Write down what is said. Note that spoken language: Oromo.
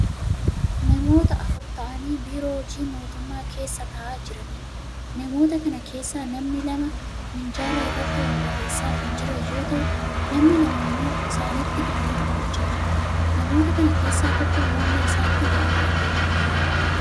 Namoota afur ta'aanii biiroo hojii mootummaa keessa ta'aa jiraniidha. Namoota kana keessaa namni lama minjaala irratti waa barreessaa kan jiran yoo ta'u, namni lama immoo isaanitti dubbii dubbachaa jiru. Namoota kana keessaa tokko morma isaatti waa hidhatee jira.